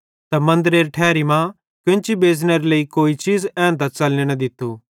त मन्दरेरी ठैरी मां केन्ची बेच़नेरे लेइ कोई चीज़ एन्तां च़लने न दित्तू